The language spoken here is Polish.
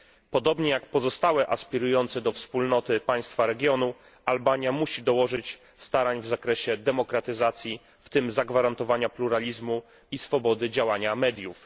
Podobnie jak pozostałe aspirujące do Unii państwa regionu, Albania musi dołożyć starań w zakresie demokratyzacji, w tym zagwarantować pluralizm i swobodę działania mediów.